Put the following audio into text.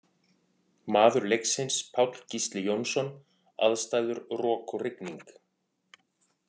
Maður leiksins Páll Gísli Jónsson Aðstæður Rok og rigning.